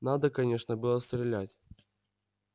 надо конечно было стрелять